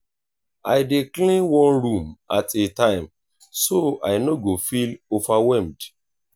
i dey clean one room at a time so i no go feel overwhelmed.